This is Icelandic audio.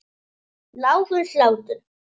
Lágur hlátur.